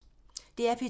DR P2